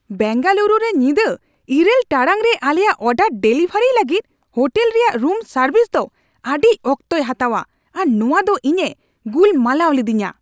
ᱵᱮᱝᱜᱟᱞᱩᱨᱩ ᱨᱮ ᱧᱤᱫᱟᱹ ᱘ ᱴᱟᱲᱟᱝ ᱨᱮ ᱟᱞᱮᱭᱟᱜ ᱚᱰᱟᱨ ᱰᱮᱞᱤᱵᱷᱟᱨᱤᱭ ᱞᱟᱹᱜᱤᱫ ᱦᱳᱴᱮᱞ ᱨᱮᱭᱟᱜ ᱨᱩᱢ ᱥᱟᱨᱵᱷᱤᱥ ᱫᱚ ᱟᱹᱰᱤ ᱚᱠᱛᱚᱭ ᱦᱟᱛᱟᱣᱟ ᱟᱨ ᱱᱚᱣᱟ ᱫᱚ ᱤᱧᱮ ᱜᱩᱞᱢᱟᱞᱟᱣ ᱞᱤᱫᱤᱧᱟ ᱾